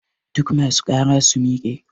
Duk ma su ƙara su miƙe!